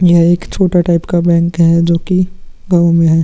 यह एक छोटा टाइप का बैंक है जो कि गाँव में है।